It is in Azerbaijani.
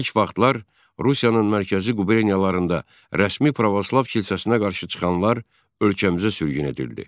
İlk vaxtlar Rusiyanın mərkəzi quberniyalarında rəsmi pravoslav kilsəsinə qarşı çıxanlar ölkəmizə sürgün edildi.